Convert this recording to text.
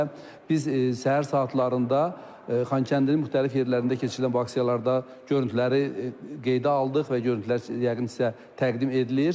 və biz səhər saatlarında Xankəndinin müxtəlif yerlərində keçirilən bu aksiyalarda görüntüləri qeydə aldıq və görüntülər yəqin sizə təqdim edilir.